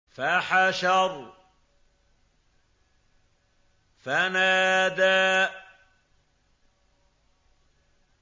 فَحَشَرَ فَنَادَىٰ